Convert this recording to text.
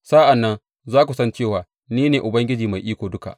Sa’an nan za ku san cewa Ni ne Ubangiji Mai Iko Duka.